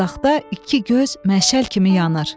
Uzaqda iki göz məşəl kimi yanır.